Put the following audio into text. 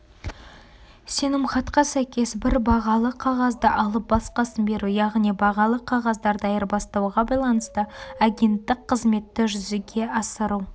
сенімхатқа сәйкес бір бағалы қағазды алып басқасын беру яғни бағалы қағаздарды айырбастауға байланысты агенттік қызметті жүзеге асыру